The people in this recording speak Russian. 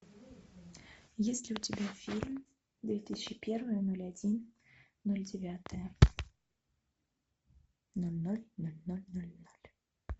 есть ли у тебя фильм две тысячи первое ноль один ноль девятое ноль ноль ноль ноль ноль ноль